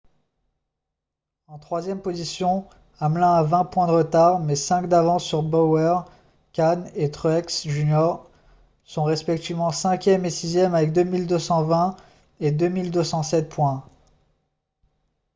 en troisième position hamlin a vingt points de retard mais cinq d'avance sur bowyer kahne et truex jr sont respectivement cinquième et sixième avec 2 220 et 2 207 points